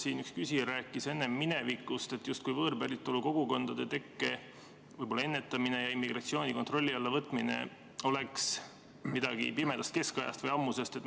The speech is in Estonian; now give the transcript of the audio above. Siin üks küsija rääkis enne, justkui võõrpäritolu kogukondade tekke ennetamine ja immigratsiooni kontrolli alla võtmine oleks midagi, mis on pärit pimedast keskajast või ammusest ajast.